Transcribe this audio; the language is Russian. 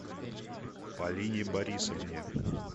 полине борисовне